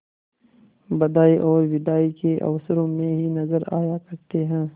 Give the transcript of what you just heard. बधाई और बिदाई के अवसरों ही में नजर आया करते हैं